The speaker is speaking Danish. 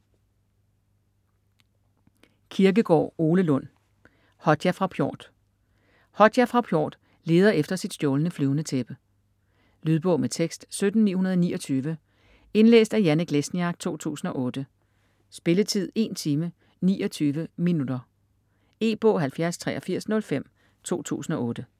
Kirkegaard, Ole Lund: Hodja fra Pjort Hodja fra Pjort leder efter sit stjålne flyvende tæppe. Lydbog med tekst 17929 Indlæst af Janek Lesniak, 2008. Spilletid: 1 time, 29 minutter. E-bog 708305 2008.